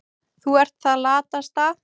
Þú ert það latasta.